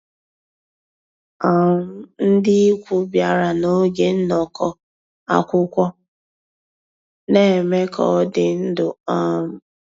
um Ndị́ ìkwù bìàrà n'ògé nnọ́kọ́ àkwụ́kwọ́, ná-èmè ká ọ́ dị́ ndụ́. um